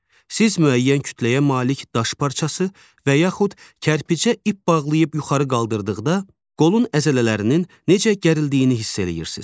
Siz müəyyən kütləyə malik daş parçası və yaxud kərpicə ip bağlayıb yuxarı qaldırdıqda qolun əzələlərinin necə gərildiyini hiss eləyirsiz.